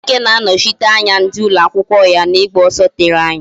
Chike ga-anọchite anya ndị ụlọ akwụkwọ ya n'ịgba ọsọ tere anya